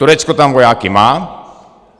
Turecko tam vojáky má.